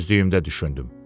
Özlüyümdə düşündüm.